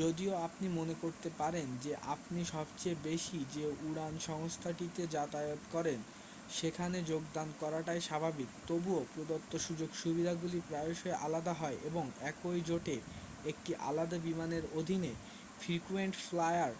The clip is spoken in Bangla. যদিও আপনি মনে করতে পারেন যে আপনি সবচেয়ে বেশি যে উড়ান সংস্থাটিতে যাতায়াত করেন সেখানে যোগদান করাটাই স্বাভাবিক তবুও প্রদত্ত সুযোগ-সুবিধাগুলি প্রায়শই আলাদা হয় এবং একই জোটে একটি আলাদা বিমানের অধীনে ফ্রিকুয়েন্ট ফ্লায়ার